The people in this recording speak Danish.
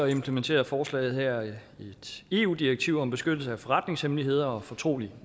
implementerer forslaget her et eu direktiv om beskyttelse af forretningshemmeligheder og fortrolig